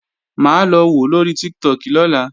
Mà á lọ wòó lóri Tiktok lọ́la